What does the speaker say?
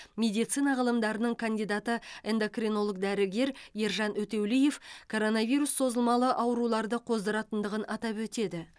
медицина ғылымдарының кандидаты эндокринолог дәрігер ержан өтеулиев коронавирус созылмалы ауруларды қоздыратындығын атап өтеді